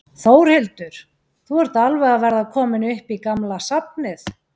Þórhildur: Þú ert alveg að verða kominn upp í gamla safnið?